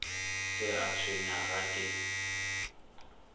se a tshwenya ga ke